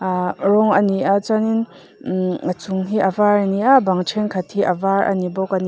ahh rawng a ni a chuanin ihh a chung hi a var a ni a a bang thenkhat hi a var a ni bawk a ni.